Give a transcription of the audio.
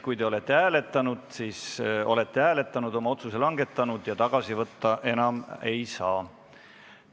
Kui te olete hääletanud, siis te olete hääletanud, oma otsuse langetanud ja seda tagasi võtta enam ei saa.